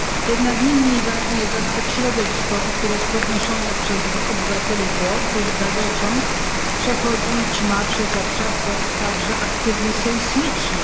Jednak nie mniej ważny jest aspekt środowiskowy, który jest podnoszony przez obywateli Włoch, gdyż gazociąg przechodzić ma przez obszar także aktywny sejsmicznie.